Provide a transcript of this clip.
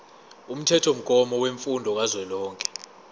umthethomgomo wemfundo kazwelonke